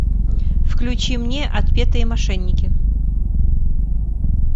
включи мне отпетые мошенники